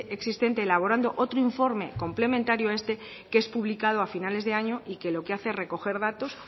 existente elaborando otro informe complementario a este que es publicado a finales de año y que lo que hace es recoger datos